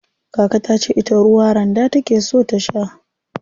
Kaka tace ita ruwa randa take so ta sha.